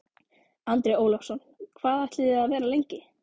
Andri Ólafsson: Hvað ætlið þið að vera lengi?